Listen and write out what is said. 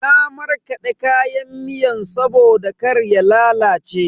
Na markade kayan miyan saboda kar ya lalace.